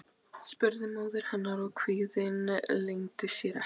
spurði móðir hennar og kvíðinn leyndi sér ekki.